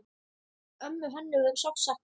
Ömmu Hönnu verður sárt saknað.